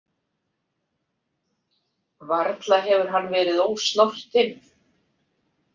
Varla hefur hann verið ósnortinn.